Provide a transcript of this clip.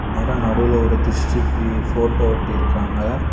நேரா நடுவுல ஒரு திருஷ்டிக்கு ஒரு ஃபோட்டோ ஒட்டி இருக்காங்க.